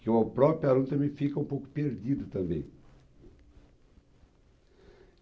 que o próprio aluno também fica um pouco perdido também.